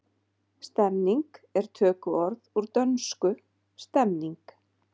Stemning er tökuorð úr dönsku stemning.